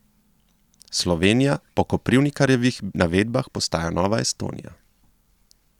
Slovenija po Koprivnikarjevih navedbah postaja nova Estonija.